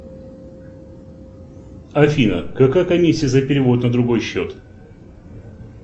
афина какая комиссия за перевод на другой счет